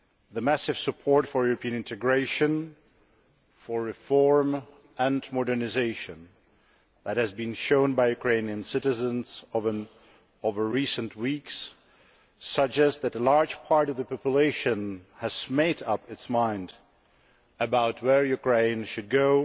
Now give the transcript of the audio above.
The massive support for European integration, for reform and for modernisation that has been shown by Ukrainian citizens over recent weeks suggests that a large part of the population has made up its mind about where Ukraine should go,